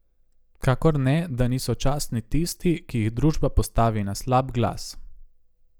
Kakor ne, da niso častni tisti, ki jih družba postavi na slab glas.